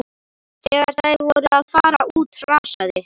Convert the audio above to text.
Þegar þær voru að fara út hrasaði